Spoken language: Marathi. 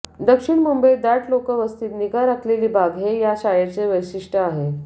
दक्षिण मुंबईत दाट लोकवस्तीत निगा राखलेली बाग हे या शाळेचं वैशिष्ट्य आहे